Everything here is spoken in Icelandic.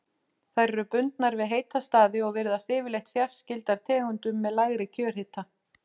Þær eru bundnar við heita staði og virðast yfirleitt fjarskyldar tegundum með lægri kjörhita.